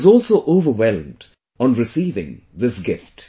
I was also overwhelmed on receiving this gift